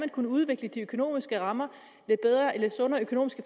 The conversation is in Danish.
kunne udvikle de økonomiske rammer